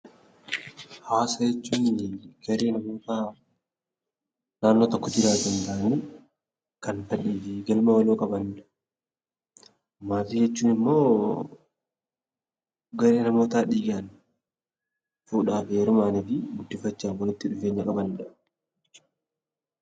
Hawaasa jechuun garee dhuunfaa naannoo tokko jiraatan waliin qabanidha. Maatii jechuun immoo garee namootaa dhiigaan, fuudhaa fi heerumaan walitti dhufeenya qaban jechuudha.